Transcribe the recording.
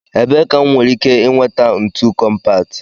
Ebee ka m nwere ike nweta ntu kọmpat?